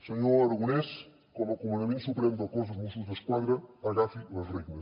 senyor aragonès com a comandament suprem del cos dels mossos d’esquadra agafi les regnes